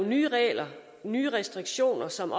nye regler og nye restriktioner som